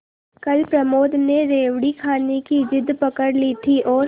कल प्रमोद ने रेवड़ी खाने की जिद पकड ली थी और